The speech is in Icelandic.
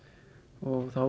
og þá